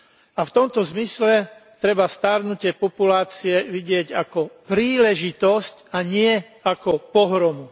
A v tomto zmysle treba starnutie populácie vidieť ako príležitosť, a nie ako pohromu.